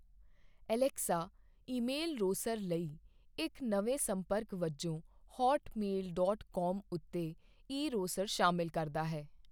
Alexa email ਰੋਸਰ ਲਈ ਇਕ ਨਵੇਂ ਸੰਪਰਕ ਵਜੋਂ ਹੌਟ ਮੇਲ ਡਾਟ ਕਾਮ ਉਤੇ ਇਰੋਸਰ ਸ਼ਾਮਲ ਕਰਦਾ ਹੈ।